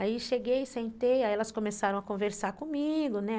Aí cheguei, sentei, aí elas começaram a conversar comigo, né?